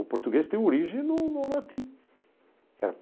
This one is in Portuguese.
O português tem origem no no latim.